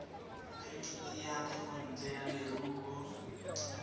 phemiti ya thekontle ya leruo